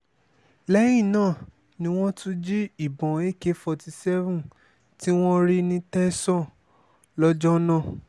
lẹ́yìn náà ni wọ́n tún jí ìbọn ak forty seven tí wọ́n rí ní tẹ̀sán lọ́jọ́ náà